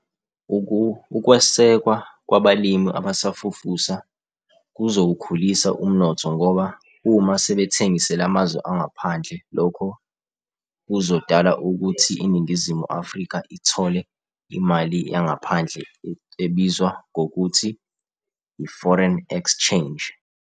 Ukwesekwa kwabalimi abasafufusa, kuzowukhulisa umnotho ngoba uma sebethengisele amazwe angaphandle, lokho kuzodala ukuthi iNingizimu Afrika ithole imali yangaphandle ebizwa ngokuthi i-foreign exchange.